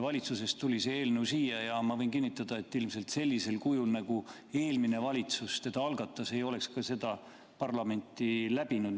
Valitsusest tuli see eelnõu siia ja ma võin kinnitada, et ilmselt sellisel kujul, nagu eelmine valitsus algatas, ei oleks ta parlamenti läbinud.